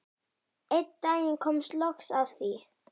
Einn daginn kom loks að því.